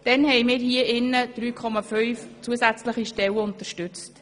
Damals haben wir hier im Rat 3,5 zusätzliche Stellen unterstützt.